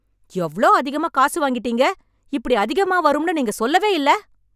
எவ்வளோ அதிகமா காசு வாங்கிட்டீங்க இப்படி அதிகமா வரும்னு நீங்க சொல்லவே இல்ல